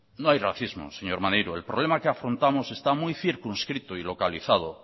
no hay racismo señor maneiro el problema que afrontamos está muy circunscrito y localizado